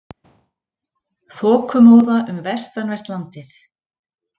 Þokumóða um vestanvert landið